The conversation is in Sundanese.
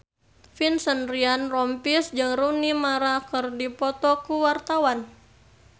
Vincent Ryan Rompies jeung Rooney Mara keur dipoto ku wartawan